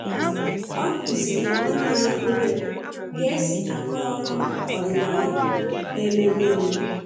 ọ kuziri nwanne ya obere ka esi a kọọrọ ọdinaya na-emeru emeru.